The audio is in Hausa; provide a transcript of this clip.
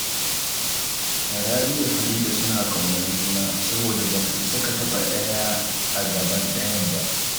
Rabi da Farida suna ƙaunar juna, saboda ba ka isa ka taɓa ɗaya a gaban ɗayan ba